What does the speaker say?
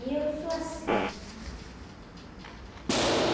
E eu sou assim, sabe?